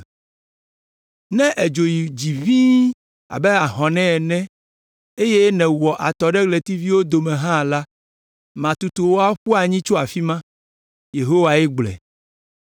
Ne èdzo yi dzi ʋĩi abe hɔ̃ ene eye nèwɔ atɔ ɖe ɣletiviwo dome hã la, matutu wò aƒu anyi tso afi ma.” Yehowae gblɔe.